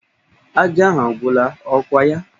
Ajá ahụ agwụla, ọ kwa ya?